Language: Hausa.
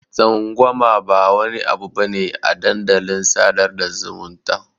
Tsangwama ba wani abu bane a dandalin sadar da zumunta.